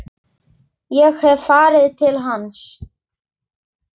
Ég hef farið til hans.